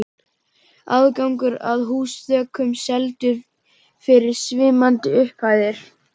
Aðgangur að húsþökum seldur fyrir svimandi upphæðir.